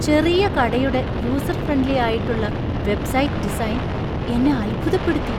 ചെറിയ കടയുടെ user friendly ആയിട്ടുള്ള വെബ്സൈറ്റ് ഡിസൈൻ എന്നെ അത്ഭുതപ്പെടുത്തി.